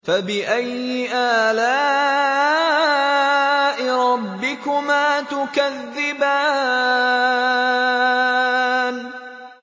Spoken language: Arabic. فَبِأَيِّ آلَاءِ رَبِّكُمَا تُكَذِّبَانِ